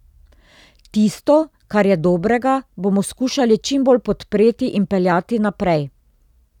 Tisto, kar je dobrega, bomo skušali čim bolj podpreti in peljati naprej.